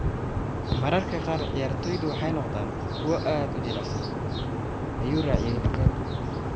“Mararka qaar ciyaartoydu waxay noqdaan kuwo aad u jilicsan,” ayuu sii raaciyay Lukaku.